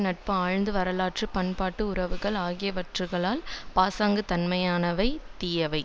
நட்பு ஆழ்ந்த வரலாற்று பண்பாட்டு உறவுகள் ஆகியவைகள் பாசாங்குத்தனமானவை தீயவை